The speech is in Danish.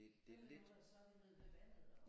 Det det er lidt